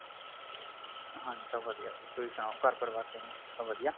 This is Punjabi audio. ਹਾਂਜੀ ਸਭ ਵਧੀਆ ਤੁਸੀਂ ਸੁਨਾਉ ਘਰ ਪਰਿਵਾਰ ਕਿਵੇਂ ਸਭ ਵਧੀਆ